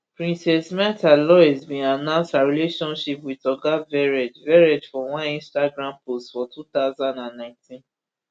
princess mrtha louise bin announce her relationship wit oga verrett verrett for one instagram post for two thousand and nineteen